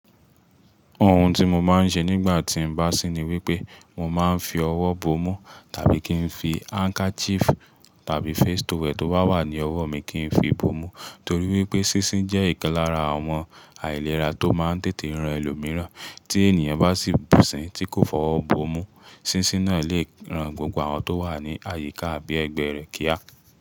Ohun tí mo máa ń ṣe nígbà tí n bá sín ni wípé mo máa ń fi ọwọ́ bomú tàbí kí n fi handkerchief tàbí face towel tó wà ní ọwọ́ mi kí n fi bomú. Nítorí wípé sísín jẹ́ ìkan lára àwọn àìlera tó máa ń tètè rán ẹlòmíràn. Tí ènìyàn bá sì bù sín tí kò fọwọ́ bomú, sísín náà lè rán gbogbo àwọn tó wà ní àyíká àbí ẹgbẹ́ rẹ̀ kíá.